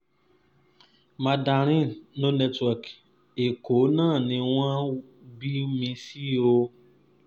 mandarin no network èkó náà ni wọ́n wọ́n bí mi sí o